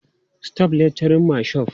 Stop littering my shop!